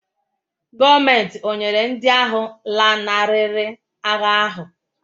Gọọmenti ọ̀ nyere ndị ahụ lanarịrị agha ahụ́?